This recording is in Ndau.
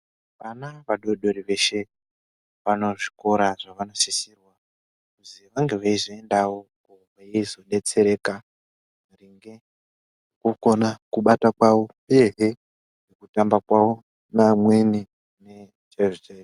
Ana vadoodori veshe vanezvikora zvavanosisirwa kuti vange veizoendawo kuti veizodetsereka maringe nekukona kubata kwavo uyezve kutamba kwavo neamweni chaizvo chaizvo.